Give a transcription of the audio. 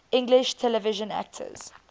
english television actors